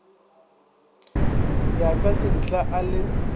ya ka dinthla a le